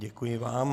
Děkuji vám.